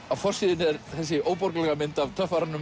á forsíðunni er þessi óborganlega mynd af